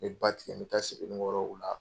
N bɛ ba tigɛ, n bɛ taa Sebenikɔrɔ o la.